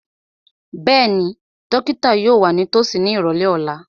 Bẹ́ẹ̀ni, dókítà yóò wà nítòsí ní ìrọ̀lẹ́ ọ̀la